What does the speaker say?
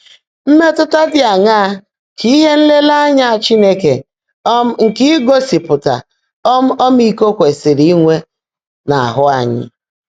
Mmétụ́tá ḍị́ áṅaá kà íhe nlèèréényá Chínekè um nkè ígósị́pụ́tá um ọ́mị́íkó kwèsị́rị́ ínwé n’áhụ́ ányị́?